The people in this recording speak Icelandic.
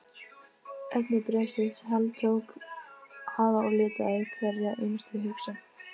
Efni bréfsins heltók hana og litaði hverja einustu hugsun.